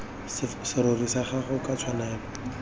serori sa gago ka tshwanelo